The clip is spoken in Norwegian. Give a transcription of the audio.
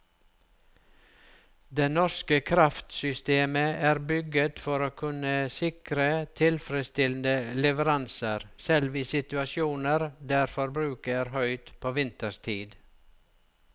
Det norske kraftsystemet er bygget for å kunne sikre tilfredsstillende leveranser selv i situasjoner der forbruket er høyt på vinterstid.